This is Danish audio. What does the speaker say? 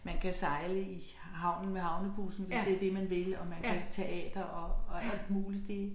Man kan sejle i havnen med havnebussen hvis det det man vil og man kan teater og og alt muligt det